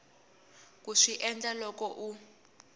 ku swi endla loko u